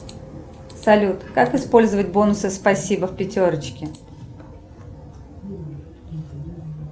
салют как использовать бонусы спасибо в пятерочке